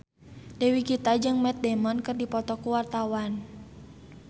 Dewi Gita jeung Matt Damon keur dipoto ku wartawan